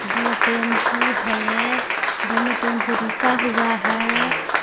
दो टेंपू है दोनो टेंपू रुका हुआ है. दो